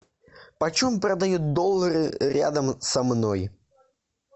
почем продают доллары рядом со мной